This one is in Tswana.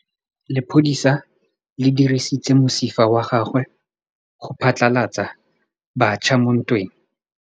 Lepodisa le dirisitse mosifa wa gagwe go phatlalatsa batšha mo ntweng.